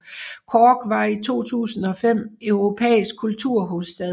Cork var i 2005 europæisk kulturhovedstad